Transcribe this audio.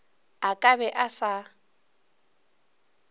a ka be a sa